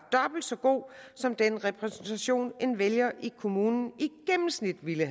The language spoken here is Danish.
dobbelt så god som den repræsentation en vælger i kommunen i gennemsnit ville